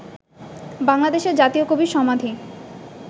বাংলাদেশের জাতীয় কবির সমাধি